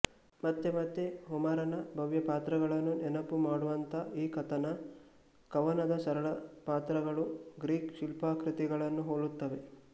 ಮತ್ತೆ ಮತ್ತೆ ಹೋಮರನ ಭವ್ಯ ಪಾತ್ರಗಳನ್ನು ನೆನಪು ಮಾಡುವಂಥ ಈ ಕಥನ ಕವನದ ಸರಳ ಪಾತ್ರಗಳು ಗ್ರೀಕ್ ಶಿಲ್ಪಾಕೃತಿಗಳನ್ನು ಹೋಲುತ್ತವೆ